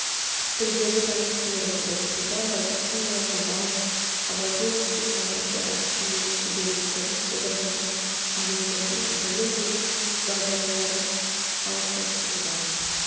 тілдегі таным теориясын оқытуда байтұрсынұлы жұбанов аманжоловтың жаңашыл әдістемелік шеберліктерін қолданудың студенттердің білім білік дағдыларын қалыптастыруда